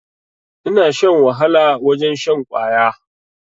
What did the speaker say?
Ina shan wahala wajen shan kwaya